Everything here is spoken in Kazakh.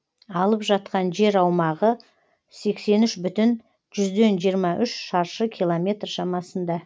алып жатқан жер аумағы сексен үш бүтін жүзден жиырма үш шаршы километр шамасында